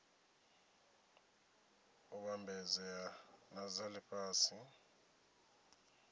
u vhambedzea na dza lifhasi